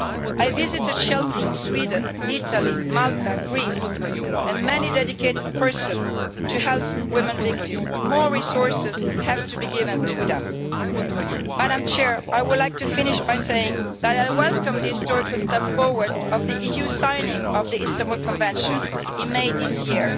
I visited shelters in Sweden, Italy, Malta, Greece, and many dedicated people who help women victims. More resources have to be given to them. I would like to finish by saying that I welcome the historical step forward of the EU's signing of the Istanbul Convention in May this year.